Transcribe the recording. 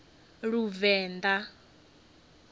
luvenḓa